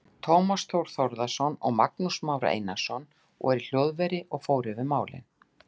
Tómas Þór Þórðarson og Magnús Már Einarsson voru í hljóðveri og fór yfir málin.